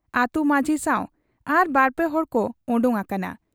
ᱟᱹᱛᱩ ᱢᱟᱺᱡᱷᱤ ᱥᱟᱶ ᱟᱨ ᱵᱟᱨᱯᱮ ᱦᱚᱲᱠᱚ ᱚᱰᱚᱠ ᱟᱠᱟᱱᱟ ᱾